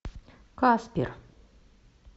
каспер